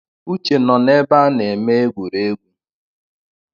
Uche nọ n’ebe a na-eme egwuregwu